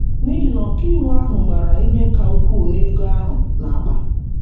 N’ihi na ọkàiwu ahụ gbara ihe ka ukwuu n’ego ahụ n’akpa.